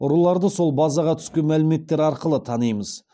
ұрыларды сол базаға түскен мәліметтер арқылы танимыз